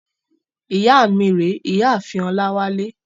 Ìyá mi rèé, ìyá ààfin Ọláwálé.